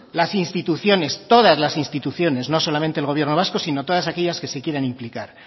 las instituciones todas las instituciones no solamente el gobierno vasco sino todas aquellas que se quieran implicar